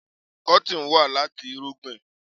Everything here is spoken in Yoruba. Kọ́tìn wà láti irúgbìn?